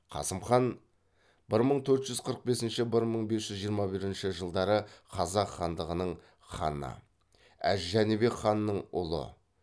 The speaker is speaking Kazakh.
қасым хан бір мың төрт жүз қырық бесінші бір мың бес жүз жиырма бірінші жылдары қазақ хандығының ханы әз жәнібек ханның ұлы